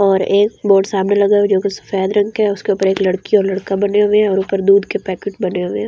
और एक बोर्ड सामने लगा हुआ जो कि सफेद रंग के हैं उसके ऊपर एक लड़की और लड़का बने हुए हैं और ऊपर दूध के पैकेट बने हुए हैं।